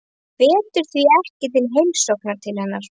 Hann hvetur því ekki til heimsókna til hennar.